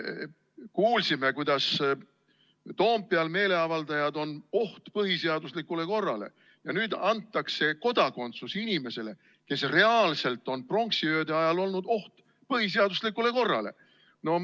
Kuulsime, kuidas Toompeal meeleavaldajad on oht põhiseaduslikule korrale, aga nüüd antakse kodakondsus inimesele, kes pronksiöö ajal reaalselt on olnud oht põhiseaduslikule korrale.